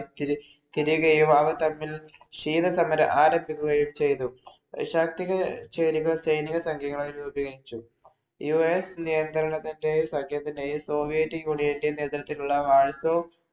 ശീതസമരം ആരംഭിക്കുകയും ചെയ്തു. ശാക്തിക ചേരികൾ സൈനിക സഖ്യങ്ങളായി രൂപീകരിച്ചു. US നിയന്ത്രണത്തിന്‍റെയും, സഖ്യത്തിന്‍റെയും soviet union ഇന്‍റെയും നേതൃത്വത്തിലുള്ള warzaw